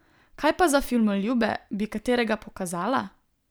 Kaj pa za filmoljube, bi katerega pokazala?